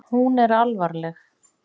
Hún er alvarleg.